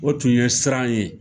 O tun ye siran ye.